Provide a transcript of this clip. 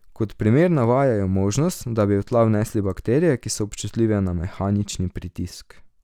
Kot primer navajajo možnost, da bi v tla vnesli bakterije, ki so občutljive na mehanični pritisk.